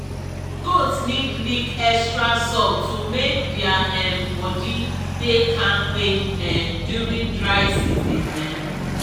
goats need lick extra salt to make dia um body dey kampe um during dry season um